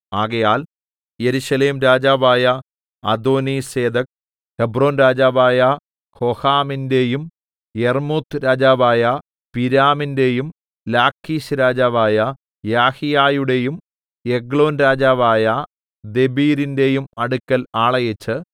ആകയാൽ യെരൂശലേം രാജാവായ അദോനീസേദെക്ക് ഹെബ്രോൻരാജാവായ ഹോഹാമിന്റെയും യർമ്മൂത്ത്‌രാജാവായ പിരാമിന്റെയും ലാഖീശ്‌രാജാവായ യാഹീയയുടെയും എഗ്ലോൻ രാജാവായ ദെബീരിന്റെയും അടുക്കൽ ആളയച്ച്